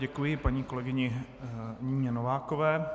Děkuji paní kolegyni Nině Novákové.